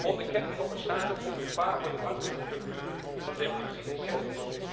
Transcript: Onderkent de commissaris dit gevaar voor de wankele structuur van de democratie in Servië?